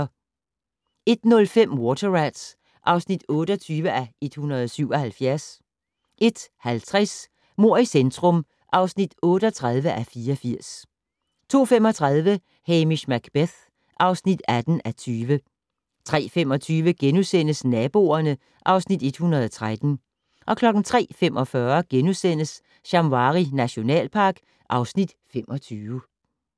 01:05: Water Rats (28:177) 01:50: Mord i centrum (38:84) 02:35: Hamish Macbeth (18:20) 03:25: Naboerne (Afs. 113)* 03:45: Shamwari nationalpark (Afs. 25)*